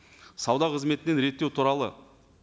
сауда қыметінен реттеу туралы